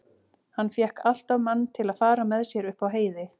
Hann fékk alltaf mann til að fara með sér upp á heiði.